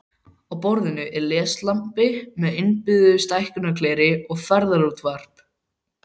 Á borðinu er leslampi með innbyggðu stækkunargleri og ferðaútvarp.